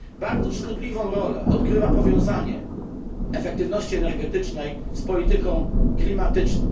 Bardzo szkodliwą rolę odgrywa powiązanie efektywności energetycznej z polityką klimatyczną.